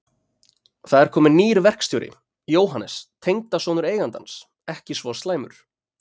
Það er kominn nýr verkstjóri, Jóhannes, tengdasonur eigandans, ekki svo slæmur.